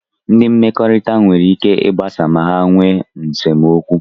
Ndị mmekọrịta nwere ike ịgbasa ma ha nwe nsemokwu.